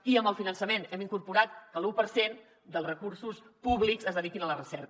i amb el finançament hem incorporat que l’u per cent dels recursos públics es dediquin a la recerca